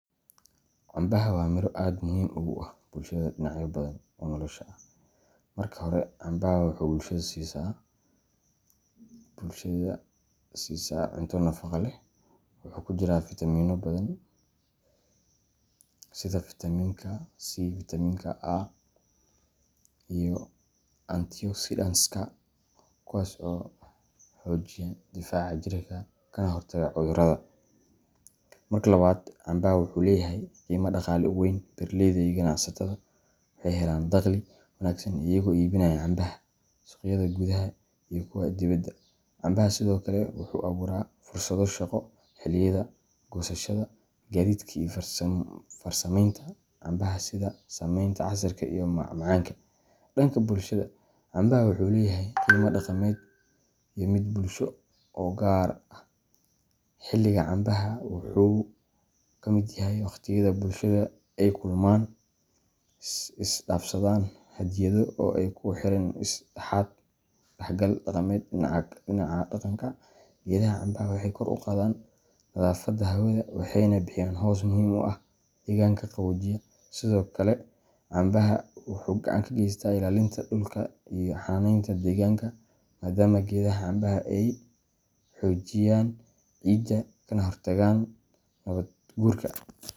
Cambaha waa miro aad muhiim ugu ah bulshada dhinacyo badan oo nolosha ah. Marka hore, cambaha wuxuu bulshada siisaa cunto nafaqo leh. Waxaa ku jira fitamiinno badan sida Vitaminka C, Vitaminka A, iyo antioxidantska, kuwaas oo xoojiya difaaca jirka kana hortaga cudurrada. Marka labaad, cambaha wuxuu leeyahay qiime dhaqaale oo weyn. Beeralayda iyo ganacsatada waxay ka helaan dakhli wanaagsan iyagoo iibinaya cambaha suuqyada gudaha iyo kuwa dibadda. Cambaha sidoo kale wuxuu abuuraa fursado shaqo xilliyada goosashada, gaadiidka, iyo farsamaynta cambaha sida sameynta casiirka iyo macmacaanka. Dhanka bulshada, cambaha wuxuu leeyahay qiime dhaqameed iyo mid bulsho oo gaar ah. Xilliga cambaha wuxuu ka mid yahay waqtiyada bulshada ay kulmaan, isdhaafsadaan hadiyado, oo ay ku xirmaan is dhexgal dhaqameed. Dhinaca deegaanka, geedaha cambaha waxay kor u qaadaan nadaafadda hawada, waxayna bixiyaan hoos muhiim ah oo deegaanka qaboojiya. Sidoo kale, cambaha wuxuu gacan ka geystaa ilaalinta dhulka iyo xannaaneynta deegaanka, maadaama geedaha cambaha ay xoojiyaan ciidda kana hortagaan nabaad guurka.